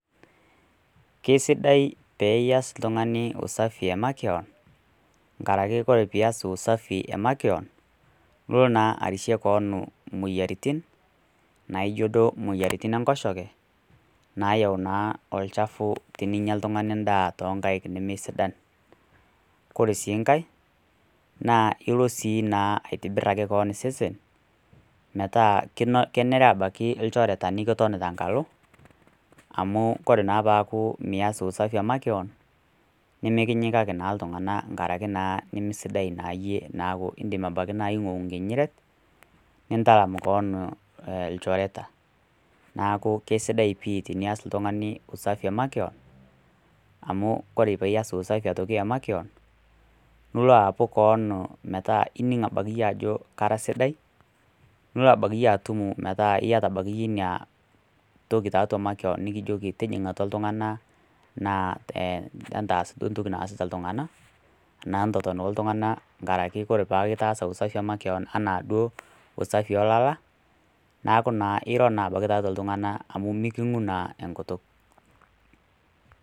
Keisidai peneias oltung'ani usafi e makewan, enkaraki ore pee ias usafi e makeon, ilo naa arishie keon imoyiaritin, naijo duo imoyiaritin enkoshoke nayau naa olchafu teninya oltung'ani endaa o nkaik nee sidan. Kore sii nkai, naa ilo sii naa aitobiraki keon osesen metaa kenere abaiki ilchoreta nikiton tee enkalo amu kore naa pee mias usafi e makeon, nimikinyikaki naa iltung'ana enkaraki nimisidai naaa iyie ebaiki naa naaku naa ing'uou enkinyinyiret nitalam keon ilchoreta , neaku eisidai pii tenias oltung'ani usafi emakeon amu ore piias usafi e makewan amu kore piias aitoki ake usafi e makewan nilo aapu kewan nining' ake siiyie keon ajo elo nara sidai nilo abaiki itum ina toki tiatua makeon nikijoki tijing'a atua iltung'anna anaa entaas duo entoki naasita iltung'ana anaa entoton naa oltungana enkaraki kore paake peaku itaasa usafi e makewan anaa duo usafi oo ilala neaku naa iro abaiki tiatua iltung'ana amu meking'u naa enkutuk.